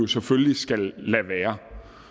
selvfølgelig skal lade være